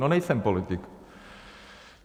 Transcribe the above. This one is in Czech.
No nejsem politik.